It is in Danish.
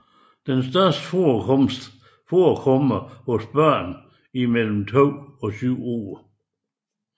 Den højeste forekomst forekommer hos børn mellem 2 og 7 år